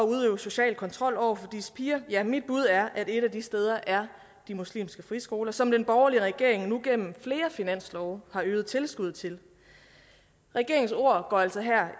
social kontrol over for disse piger ja mit bud er at et af de steder er de muslimske friskoler som den borgerlige regering nu gennem flere finanslove har øget tilskuddet til regeringens ord går altså her